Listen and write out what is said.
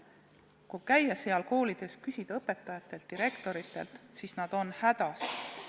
Kui käia nendes koolides ja küsida õpetajatelt ning direktoritelt, siis vastus on, et nad on hädas.